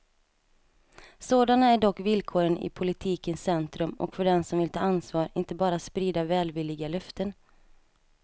Sådana är dock villkoren i politikens centrum och för dem som vill ta ansvar, inte bara sprida välvilliga löften.